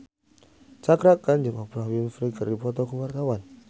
Cakra Khan jeung Oprah Winfrey keur dipoto ku wartawan